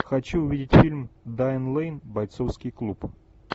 хочу увидеть фильм дайан лэйн бойцовский клуб